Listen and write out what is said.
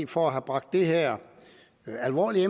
for at have bragt det her alvorlige